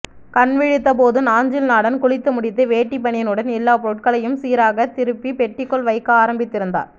கண்விழித்தபோது நாஞ்சில்நாடன் குளித்து முடித்து வேட்டி பனியனுடன் எல்லா பொருட்களையும் சீராக திருப்பி பெட்டிக்குள் வைக்க ஆரம்பித்திருந்தார்